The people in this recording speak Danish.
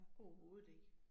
Overhovedet ikke